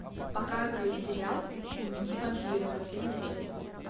показывай сериал дневники вампира последняя часть